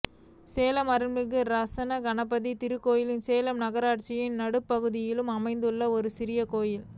சேலம் அருள்மிகு ராசகணபதி திருக்கோயில் சேலம் மாநகராட்சியின் நடுப்பகுதியில் அமைத்துள்ள ஒரு சிறிய கோயில்